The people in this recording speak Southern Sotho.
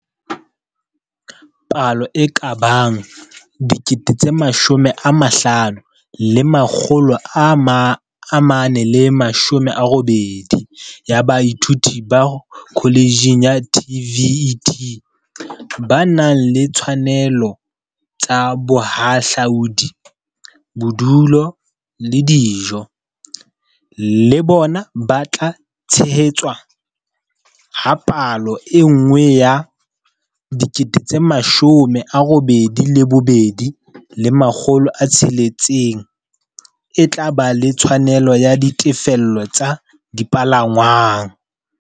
Palo e ka bang 50 480 ya baithuti ba kholetjhe ya TVET, ba nang le ditshwanelo tsa bohahlaudi, bodulo le dijo, le bona ba tla tshehetswa, ha palo e nngwe ya 82 600 e tla ba le tshwanelo ya ditefello tsa dipalangwang.